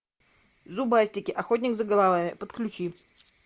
зубастики охотник за головами подключи